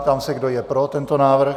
Ptám se, kdo je pro tento návrh.